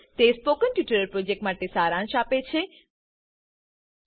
httpspoken tutorialorg What a Spoken Tutorial તે spoken tutorial પ્રોજેક્ટનો સારાંશ આપે છે